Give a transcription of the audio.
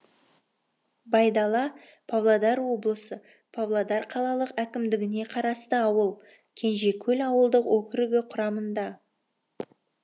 байдала павлодар облысы павлодар қалалық әкімдігіне қарасты ауыл кенжекөл ауылдық округі құрамында